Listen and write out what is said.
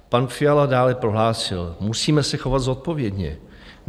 Pan Fiala dále prohlásil: "Musíme se chovat zodpovědně.